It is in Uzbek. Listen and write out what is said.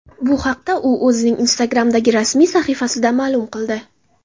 Bu haqda u o‘zining Instagram’dagi rasmiy sahifasida ma’lum qildi .